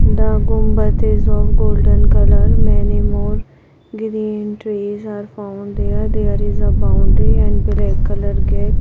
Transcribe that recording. The Gumbat is of golden colour many more green trees are found there there is a boundary and black colour gate.